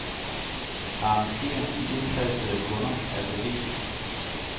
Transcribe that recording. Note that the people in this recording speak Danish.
Arrangér de indtastede kunder alfabetisk.